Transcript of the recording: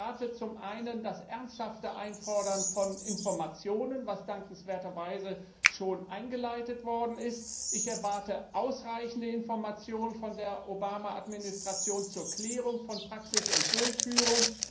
Und ich erwarte zum einen das ernsthafte Einfordern von Informationen, was dankenswerterweise schon eingeleitet worden ist. Ich erwarte ausreichende Informationen von der Obama Administration zur Klärung von Praxis und Durchführung.